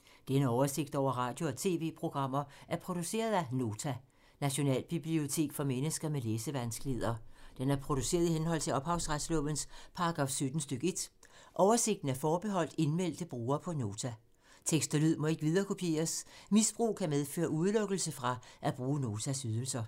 Denne oversigt over radio og TV-programmer er produceret af Nota, Nationalbibliotek for mennesker med læsevanskeligheder. Den er produceret i henhold til ophavsretslovens paragraf 17 stk. 1. Oversigten er forbeholdt indmeldte brugere på Nota. Tekst og lyd må ikke viderekopieres. Misbrug kan medføre udelukkelse fra at bruge Notas ydelser.